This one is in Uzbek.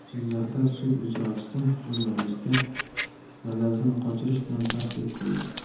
Jizzaxda sud ijrochisi jurnalistga mazasini qochirish bilan tahdid qildi.